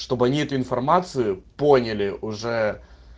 чтобы они эту информацию поняли уже